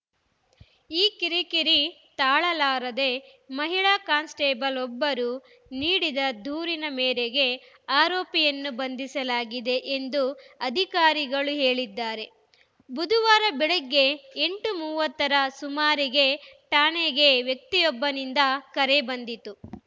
ಈ ಕಿರಿಕಿರಿ ತಾಳಲಾರದೆ ಮಹಿಳಾ ಕಾನ್‌ಸ್ಟೇಬಲ್‌ವೊಬ್ಬರು ನೀಡಿದ ದೂರಿನ ಮೇರೆಗೆ ಆರೋಪಿಯನ್ನು ಬಂಧಿಸಲಾಗಿದೆ ಎಂದು ಅಧಿಕಾರಿಗಳು ಹೇಳಿದ್ದಾರೆ ಬುಧವಾರ ಬೆಳಗ್ಗೆ ಎಂಟು ಮೂವತ್ತ ರ ಸುಮಾರಿಗೆ ಠಾಣೆಗೆ ವ್ಯಕ್ತಿಯೊಬ್ಬನಿಂದ ಕರೆ ಬಂದಿತು